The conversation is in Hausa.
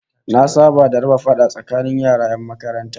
Na saba da raba fada tsakanin yara 'yan makaranta